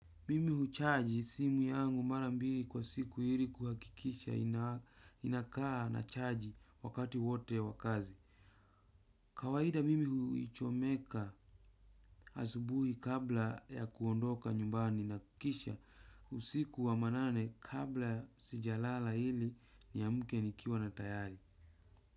Mimi huchaji simu yangu marambiri kwa siku hili kuhakikisha inakaa na chaji wakati wote wakazi. Kawahida mimi huichomeka asubuhi kabla ya kuondoka nyumbani na kisha usiku wa manane kabla sijalala hili niyamke nikiwa na tayari.